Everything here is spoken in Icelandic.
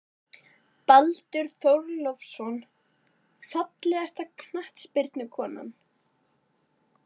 Baldur Þórólfsson Fallegasta knattspyrnukonan?